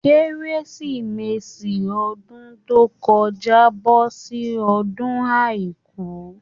Kérésìmesì ọdún tó kọjá bọ sí ọjọ́ àìkú.